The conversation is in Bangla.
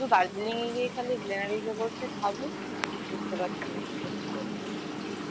শুধু Darjeeling এ গিয়ে খালি Glenarys বলছে খাবে বুঝতে পারছি না কি করছে লোকজন